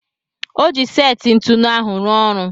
Ọ ji seti ntụnụ ahụ ruo ọrụ.